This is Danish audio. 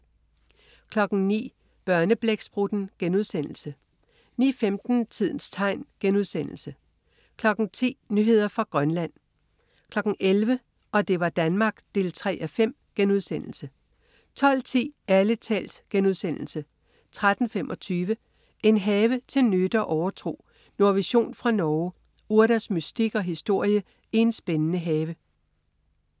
09.00 Børneblæksprutten* 09.15 Tidens tegn* 10.00 Nyheder fra Grønland 11.00 Og det var Danmark 3:5* 12.10 Ærlig talt* 13.25 En have til nytte og overtro. Nordvision fra Norge. Urters mystik og historie i en spændende have